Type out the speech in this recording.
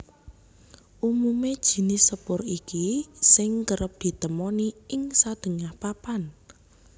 Umumé jinis sepur iki sing kerep ditemoni ing sadéngah papan